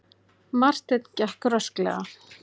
Marteinn gekk rösklega.